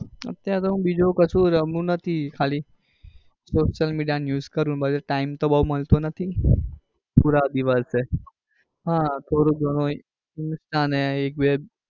અત્યારે તો હું બીજું કશું રમુ નથી ખાલી social media news કરું પાછો time બઉ મળતો નથી દિવસે આહ થોડું ગણું insta ને એક બે